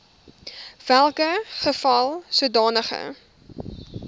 welke geval sodanige